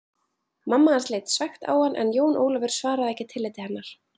Mamma hans leit svekkt á hann en Jón Ólafur svaraði ekki tilliti hennar.